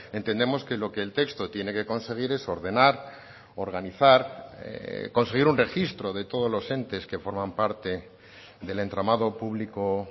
entendemos que lo que el texto tiene que conseguir es ordenar organizar conseguir un registro de todos los entes que forman parte del entramado público